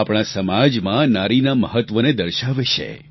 આ આપણા સમાજમાં નારીના મહત્ત્વને દર્શાવે છે